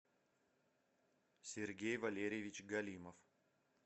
сергей валерьевич галимов